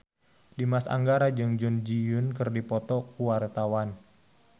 Dimas Anggara jeung Jun Ji Hyun keur dipoto ku wartawan